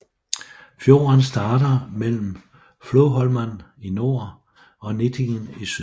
Fjorden starter mellem Floholman i nord og Nittingen i syd